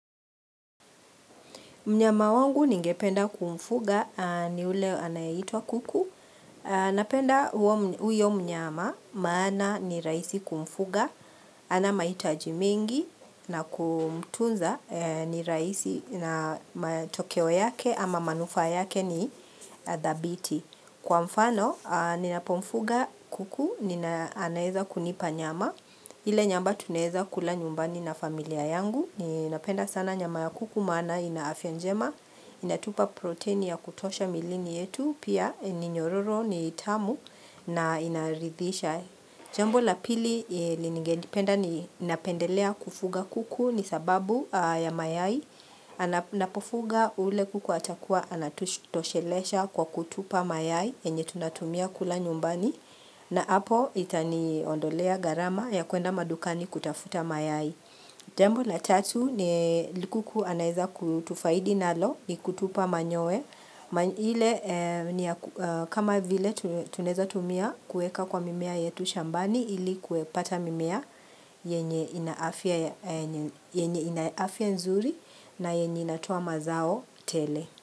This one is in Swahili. Mnyama wangu ningependa kumfuga ni ule anayitwa kuku. Napenda huyo mnyama maana ni raisi kumfuga. Ana maitaji mingi na kumtunza ni raisi na matokeo yake ama manufa yake ni thabiti Kwa mfano, ninapomfuga kuku, nina anayeza kunipa nyama. Ile nyamba tuneza kula nyumbani na familia yangu. Ninapenda sana nyama ya kuku mana inafya njema Inatupa proteini ya kutosha milini yetu Pia ni nyororo ni tamu na inaridhisha Jambo la pili linigendipenda ni napendelea kufuga kuku ni sababu ya mayai napofuga ule kuku atakuwa anatutoshelesha kwa kutupa mayai yenye tunatumia kula nyumbani na hapo itani ondolea garama ya kuenda madukani kutafuta mayai Jambo la tatu ni likuku anaeza kutufaidi nalo ni kutupa manyoe. Kama vile tuneza tumia kueka kwa mimea yetu shambani ili kue pata mimea yenye ina afia nzuri na yenye inatowa mazao tele.